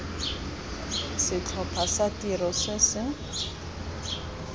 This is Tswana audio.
setlhopha sa tiro se se